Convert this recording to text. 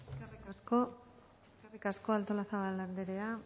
eskerrik asko artolazabal anderea